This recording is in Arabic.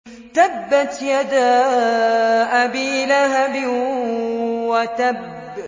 تَبَّتْ يَدَا أَبِي لَهَبٍ وَتَبَّ